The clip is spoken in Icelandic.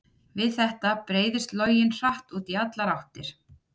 við þetta breiðist loginn hratt út í allar áttir